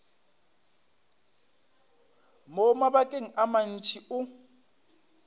mo mabakeng a mantši o